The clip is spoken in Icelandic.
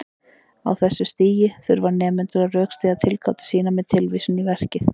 Á þessu stigi þurfa nemendur að rökstyðja tilgátur sínar með tilvísun í verkið.